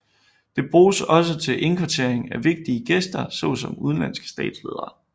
Det bruges også til indkvartering af vigtige gæster såsom udenlandske statsledere